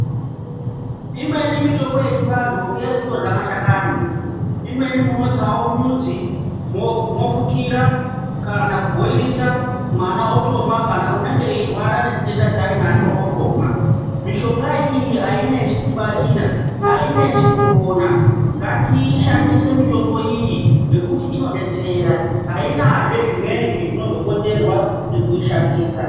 Imweni mitombo yechi vantu ngeyekutorya mashakani, imweni munotsawo mudzi mwofukira kana ku bhoyilisa mwana otomwa kana unenge eyirwara nechitenda chainacho otomwa. Mishonga iyi ainesi kungwarira ainesi kuwona ngatishandise mutombo iyi nekuti inobetsera, ainazve zvimweni zvinozokonzerwa ngekuishandisa.